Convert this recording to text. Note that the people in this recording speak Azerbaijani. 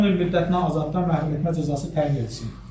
Ona 10 il müddətinə azadlıqdan məhrumetmə cəzası təyin edilsin.